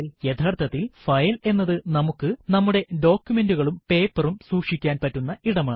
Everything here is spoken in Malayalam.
യഥാർത്ഥത്തിൽ ഫയൽ എന്നത് നമുക്ക് നമ്മുടെ ഡോകുമെന്റുകളും പേപ്പറും സൂക്ഷിക്കാൻ പറ്റുന്ന ഇടമാണ്